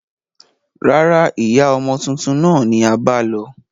Rárá, ìyá ọmọ tuntun náà ni a bá lọ